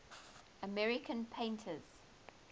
american painters